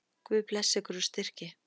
Guð blessi ykkur og styrki.